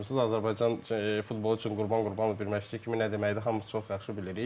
Azərbaycan futbolu üçün Qurban Qurbanov bir məşqçi kimi nə deməkdir, hamımız çox yaxşı bilirik.